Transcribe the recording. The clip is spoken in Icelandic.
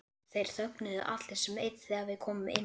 Þeir þögnuðu allir sem einn þegar við komum inn.